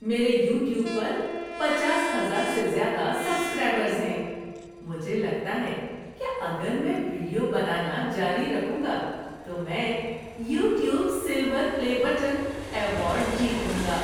میرے یوٹیوب پر پچاس ہزار سے زیادہ سبسکرائبرز ہیں۔ مجھے لگتا ہے کہ اگر میں ویڈیو بنانا جاری رکھوں گا تو میں "YouTube silver play button" award جیت لوں گا۔